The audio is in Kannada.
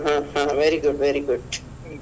ಹ ಹ ಹ very good very good .